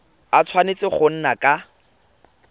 a tshwanetse go nna ka